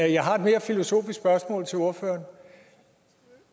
jeg har et mere filosofisk spørgsmål til ordføreren